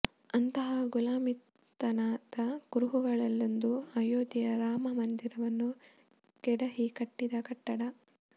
ಅಂತಹ ಗುಲಾಮಿತನದ ಕುರುಹುಗಳಲ್ಲೊಂದು ಆಯೋಧ್ಯೆಯ ರಾಮ ಮಂದಿರವನ್ನು ಕೆಡಹಿ ಕಟ್ಟಿದ ಕಟ್ಟಡ